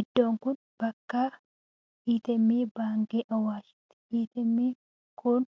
Iddoon kun bakka 'ATM' baankii Hawwaashiiti. 'ATM' n kun